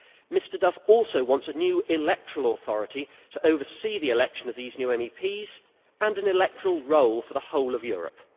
Mr Duff also wants a new electoral authority to oversee the election of these new MEPs and an electoral roll for the whole of Europe.